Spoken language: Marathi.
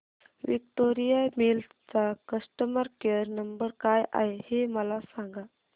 विक्टोरिया मिल्स चा कस्टमर केयर नंबर काय आहे हे मला सांगा